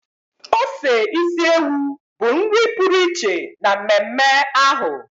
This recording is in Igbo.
ose isi ewu bụ nri pụrụ iche na mmemme ahụ.